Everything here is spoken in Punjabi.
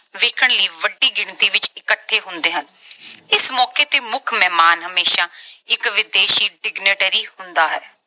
ਵੇਖਣ ਲਈ ਵੱਡੀ ਗਿਣਤੀ ਵਿੱਚ ਇੱਕਠੇ ਹੁੰਦੇ ਹਨ। ਇਸ ਮੌਕੇ ਤੇ ਮੁੱਖ ਮਹਿਮਾਨ ਹਮੇਸ਼ਾ ਇਕ ਵਿਦੇਸ਼ੀ signatory ਹੁੰਦਾ ਹੈ।